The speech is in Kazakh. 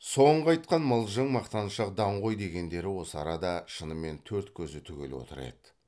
соңғы айтқан мылжың мақтаншақ даңғой дегендері осы арада шынымен төрт көзі түгел отыр еді